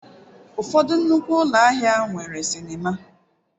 Ụfọdụ nnukwu ụlọ ahịa nwere sinima.